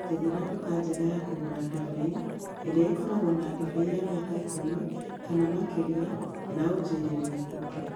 njethera duka njega ya kũgũra ndibei ĩrĩa ĩkoragwo na ndibei ya mĩaka ikũmi kana makĩria na ũnjirĩre nĩkuũ